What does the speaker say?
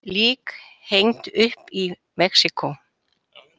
Lík hengd upp í Mexíkó